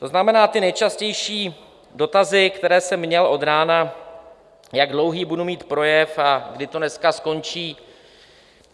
To znamená, ty nejčastější dotazy, které jsem měl od rána, jak dlouhý budu mít projev a kdy to dneska skončí?